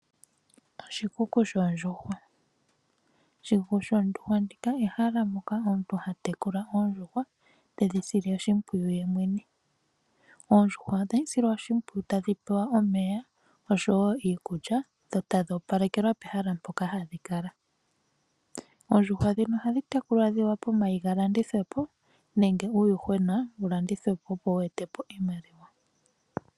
Oshikuku shoondjuhwa, oshikuku shoondjuhwa, ehala moka omuntu ha tekula ondjuhwa, tedhi sile oshimpwiyu ye mwene. Ondjuhwa ohadhi silwa oshimpwiyu tadhi pewa omeya osho wo iikulya, dho tadhi opalekelwa pehala mpoka hadhi kala. Oondjuhwa dhika ohadhi tekulwa dhi wape omayi ga landithwepo nenge uuyuhwena wu landithwepo, opo wu etepo iimaliwa.